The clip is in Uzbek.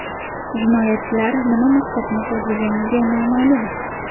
Jinoyatchilar nima maqsadni ko‘zlaganligi noma’lum.